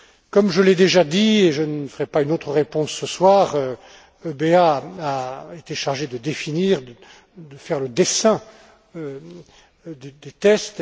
Comme je l'ai déjà dit, et je ne ferai pas une autre réponse ce soir, l'EBA a été chargée de définir, de faire le dessin des tests.